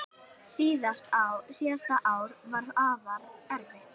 Síðasta ár var afa erfitt.